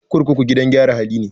Kurkuku gidan gyara hali ne.